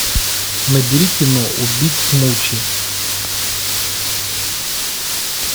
набери кино убить смучи